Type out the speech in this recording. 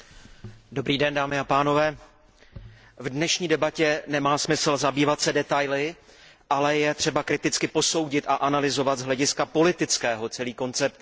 Pane předsedající, v dnešní debatě nemá smysl zabývat se detaily, ale je třeba kriticky posoudit a analyzovat z hlediska politického celý koncept tzv.